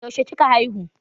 yaushe kika haihu?